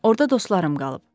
Orda dostlarım qalıb.